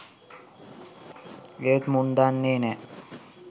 ඒත් මුන් දන්නේ නෑ